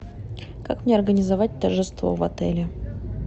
как мне организовать торжество в отеле